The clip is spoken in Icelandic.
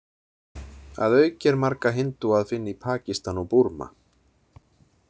Að auki er marga hindúa að finna í Pakistan og Búrma.